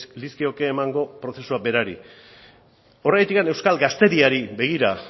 lizkioke emango prozesuari berari horregatik euskal gaztediari begira